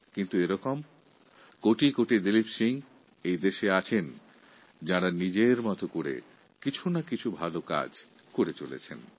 কিন্তু এইরকম কোটি কোটি দিলীপ সিং আছেন যাঁরা নিজের মত করে ভালো কাজ করেই চলেছেন